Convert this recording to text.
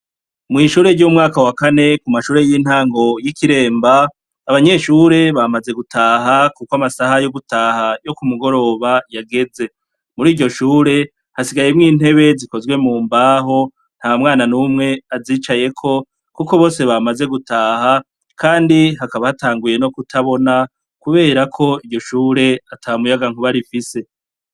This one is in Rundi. Mwishure ryo mumwaka wa kane mumashure yintango yi Kiremba abanyeshure bamaze gutaha kuko amasaha yo gutaha yo kumugoroba yageze, muriryo shure hasigayemwo intebe zikozwe mumbaho ntamwana numwe azicayeko kuko bose bamaze gutaha kandi hakaba hatanguye no kutabona kuberako iryo shure atamuyagankuba rifise.